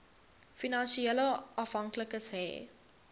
finansiële afhanklikes hê